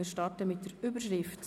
Wir starten mit der Überschrift;